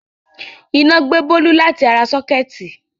Sọ́kẹ́tì Bólú gbe níná.